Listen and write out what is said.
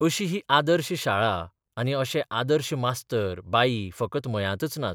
अशी ही आदर्श शाळा आनी अशे आदर्श मास्तर बाई फकत मयांतच नात.